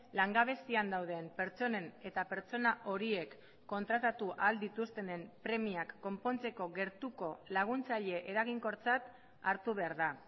langabezian dauden pertsonen eta pertsona horiek kontratatu ahal dituztenen premiak konpontzeko gertuko laguntzaile eraginkortzat hartu behar da